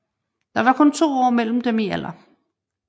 Der var kun to år mellem dem i alder